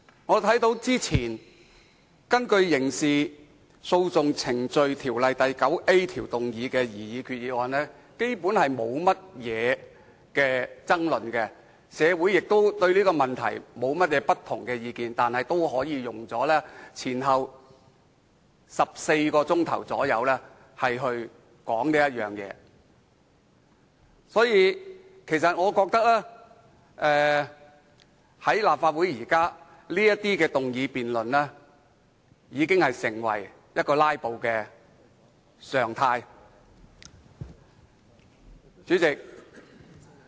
我看到早前根據《刑事訴訟程序條例》第 9A 條動議的擬議決議案基本上並沒有任何爭論，社會對此亦無異議，但本會竟也可以前後共花了約14小時進行討論，因此我認為立法會現時的議案辯論的"拉布"行徑已成為常態。